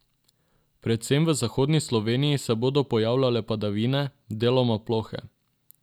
Predvsem v zahodni Sloveniji se bodo pojavljale padavine, deloma plohe.